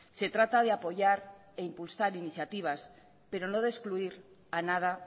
se trata de apoyar e impulsar iniciativas pero no de excluir a nada